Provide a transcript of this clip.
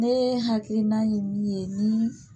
Ne hakilina ye min ye ni